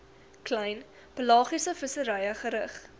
klein pelagiesevissery gerig